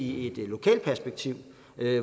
i et lokalt perspektiv